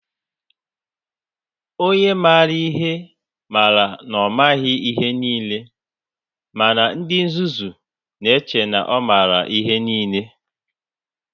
Onye maara ihe mara na ọ maghị ihe niile, mana ndị nzuzu na-eche na ọ maara ihe niile.